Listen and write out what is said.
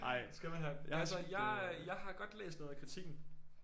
Skal man have altså jeg øh jeg har godt læst noget af kritikken